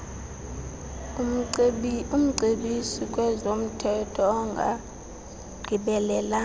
umcebisi kwezomthetho ongagqibelelanga